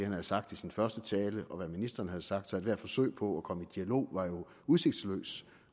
havde sagt i sin første tale og det ministeren havde sagt så ethvert forsøg på at komme dialog var udsigtsløst